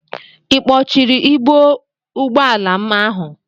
I kpọchiri ibo ụgbọala m ahụ?